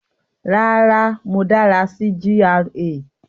Rárá, mo dára sí GRA